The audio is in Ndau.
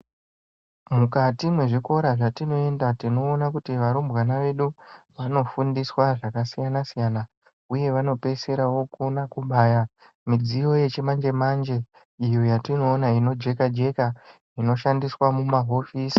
Mukati mwezvikora zvatinoienda tinoona kuti varumbwana vedu vanofundiswa zvakasiyanasiyana uye vanopeisira vokona kubaya midziyo yechimanje manje iyo yatinoona inojeka jeka inoshandiswa mumahofisi.